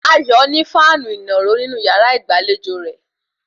Ayọ̀ ní fáànù ìnàró nínú yàrá ìgbàlejò rẹ̀